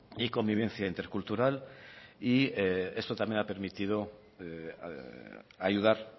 y convivencia intercultural y esto también ha permitido ayudar